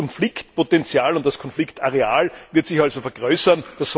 Das Konfliktpotenzial, das Konfliktareal wird sich also vergrößern.